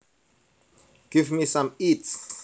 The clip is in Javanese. Give me some eats